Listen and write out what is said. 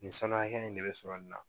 Nin sanu hakɛ in de bɛ sɔrɔ nin na